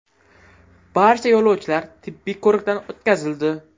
Barcha yo‘lovchilar tibbiy ko‘rikdan o‘tkazildi.